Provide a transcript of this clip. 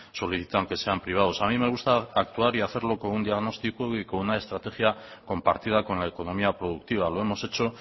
solicitan que sean privados a mí me gusta actuar y hacerlo con un diagnóstico y con una estrategia compartida con la economía productiva lo hemos hecho